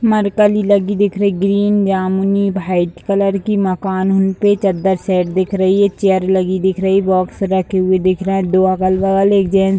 mercury लगी हुई दिख रही ग्रीन जामुनी व्हाइट कलर की मकान उन पे चद्दर सेट दिख रही है चेयर लगी दिख रही है बॉक्स रखे दिख रहे हैं दो अगल-बगल एक जेंट्स --